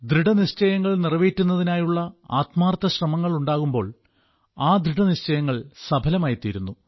ദൃഢനിശ്ചയങ്ങൾ നിറവേറ്റുന്നതിനായുള്ള ആത്മാർത്ഥ ശ്രമങ്ങൾ ഉണ്ടാകുമ്പോൾ ആ ദൃഢനിശ്ചയങ്ങൾ സഫലമായിത്തീരുന്നു